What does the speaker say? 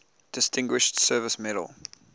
distinguished service medal